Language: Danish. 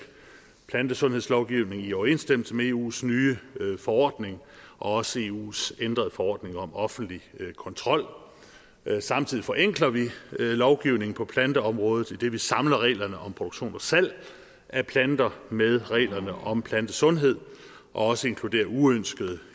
plantesundhedslovgivning i overensstemmelse med eus nye forordning og også eus ændrede forordning om offentlig kontrol samtidig forenkler vi lovgivningen på planteområdet idet vi samler reglerne om produktion og salg af planter med reglerne om plantesundhed og også inkluderer uønskede